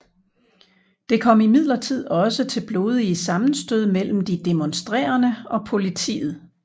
Det kom imidlertid også til blodige sammenstød mellem de demonstrerende og politiet